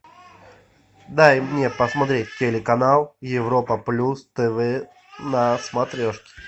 дай мне посмотреть телеканал европа плюс тв на смотрешке